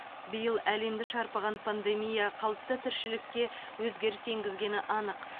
биыл әлемді шарпыған пандемия қалыпты тіршілікке өзгеріс енгізгені анық